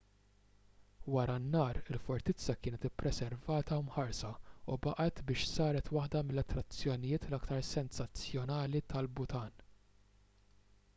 wara n-nar il-fortizza kienet ippreservata u mħarsa u baqgħet biex saret waħda mill-attrazzjonijiet l-aktar sensazzjonali tal-bhutan